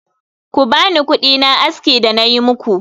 Ku bani kudina aski da nayi muku